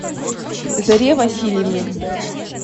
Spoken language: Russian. заре васильевне